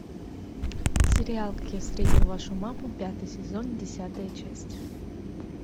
сериал как я встретил вашу маму пятый сезон десятая часть